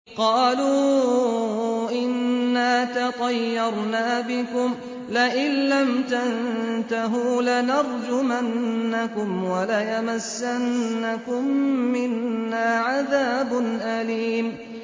قَالُوا إِنَّا تَطَيَّرْنَا بِكُمْ ۖ لَئِن لَّمْ تَنتَهُوا لَنَرْجُمَنَّكُمْ وَلَيَمَسَّنَّكُم مِّنَّا عَذَابٌ أَلِيمٌ